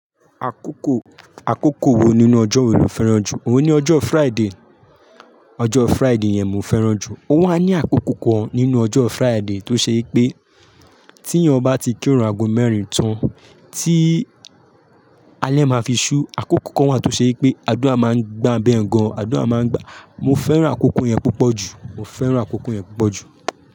Àkókò, àkókò wo nínú ọjọ́ wo lo fẹ́ràn jù? Mo ní ọjọ́ Friday. Ọjọ́ Friday yẹn mo fẹ́ràn jù. Ó wà ní àkókò kan nínú ọjọ́ Friday tó ṣe pé tí ẹ̀yán ba ti kírun ago mẹ́rin tán tí alẹ́ máa fi ṣú. Àkókò kan wà tó ṣe pé àdúà máa ń gba bẹ́ẹ̀ gan. Àdúà máa ń gba. Mo fẹ́ràn àkókò yẹn púpọ̀ jù. Mo fẹ́ràn àkókò yẹn púpọ̀ jù.